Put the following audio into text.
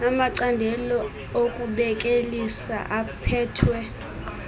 amacandelo okubelekisa aphethwe